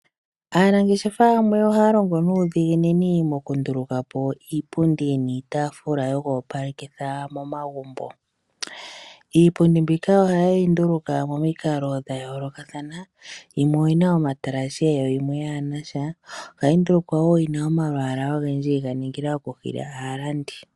Aanangeshefa yamwe ohaya longo nuudhiginini mokundulukapo iipundi niitaafula yoku opalekitha momagumbo. Iipundi ohayeyi nduluka momikalo dhayoolokathana yimwe oyina omatalashe nayimwe yaanasha. Ohayi ndulukwa wo yina omalwaalwa ogendji yega ningila okuhila aalandi.